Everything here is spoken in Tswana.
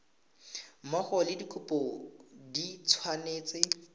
mmogo le dikopo di tshwanetse